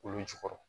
Olu jukɔrɔ